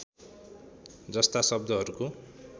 जस्ता शब्दहरूको